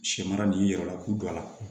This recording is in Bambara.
Sɛ mara nin yɛrɛ la k'u don a la